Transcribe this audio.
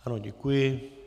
Ano, děkuji.